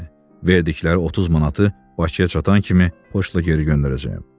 Verdikləri 30 manatı Bakıya çatan kimi poçtla geri göndərəcəyəm.